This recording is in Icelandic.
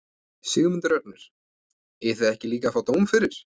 Sigmundur Ernir: Eigið þið ekki líka að fá dóm fyrir?